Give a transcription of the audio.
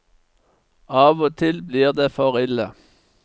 Av og til blir det for ille.